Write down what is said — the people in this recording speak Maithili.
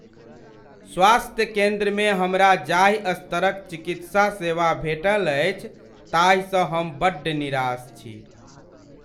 स्वास्थ्य केन्द्रमे हमरा जाहि स्तर क चिकित्सा सेवा भेटल अछि ताहिसँ हम बड्ड निराश छी।